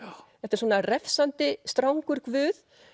þetta er svona strangur guð